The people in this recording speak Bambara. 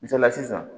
Misaliya sisan